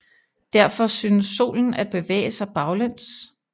Derfor synes Solen at bevæge sig baglæns